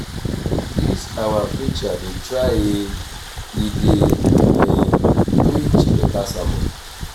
dis our preacher dey try e e dey preach beta sermon